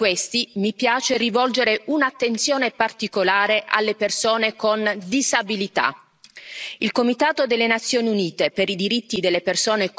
hanno colpito soprattutto chi è già in difficoltà e tra questi mi piace rivolgere un'attenzione particolare alle persone con disabilità.